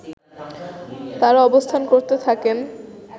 তারা অবস্থান করতে থাকেন